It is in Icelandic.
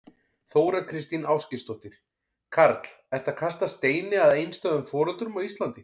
Þóra Kristín Ásgeirsdóttir: Karl, ertu að kasta steini að einstæðum foreldrum á Íslandi?